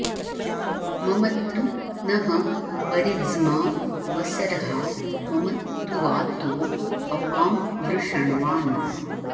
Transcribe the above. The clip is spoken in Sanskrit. म॒मत्तु॑ नः॒ परि॑ज्मा वस॒र्हा म॒मत्तु॒ वातो॑ अ॒पां वृष॑ण्वान्